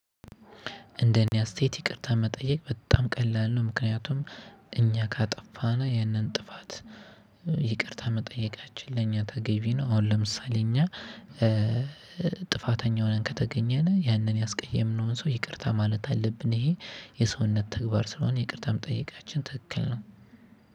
እንደኔ አስተያየት ይቅርታ መጠየቅ በጣም ቀላል ነው ምክንያቱም እኛ ካጠፋነ ያንን ጥፋት ይቅርታ መጠየቃችን ለእኛ ተገቢ ነው። አሁን ለምሳሌ እኛ ጥፋተኛ ሆነን ከተገኘን ያንን ያስቀየምነውን ሰው ይቅርታ ማለት አለብን። ይሄ የሰውነት ተግባር ስለሆነ ይቅርታ መጠይቃችን ትክክል ነው።